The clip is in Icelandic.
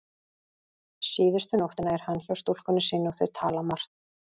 Síðustu nóttina er hann hjá stúlkunni sinni og þau tala margt.